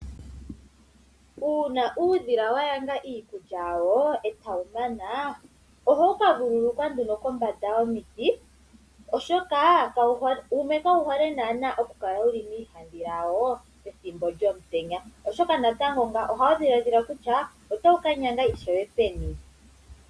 Uuna uudhila wa nyanga iikulya yawo e tawu mana, ohawu ka vululukwa nduno kombanda yomiti, oshoka wumwe kawu hole naana okukala wu li miihandhila wawo pethimbo lyomutenya, oshoka natango ngaka ohawu dhiladhila kutya otawu ka nyanga ishewe peni.